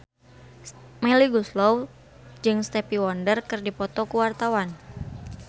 Melly Goeslaw jeung Stevie Wonder keur dipoto ku wartawan